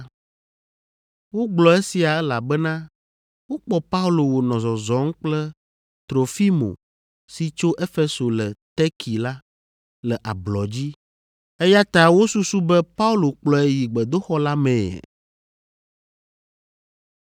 (Wogblɔ esia, elabena wokpɔ Paulo wònɔ zɔzɔm kple Trofimo si tso Efeso le Terki la, le ablɔ dzi, eya ta wosusu be Paulo kplɔe yi gbedoxɔ la mee.)